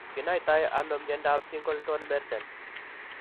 Kinaitano myondap Singleton merten.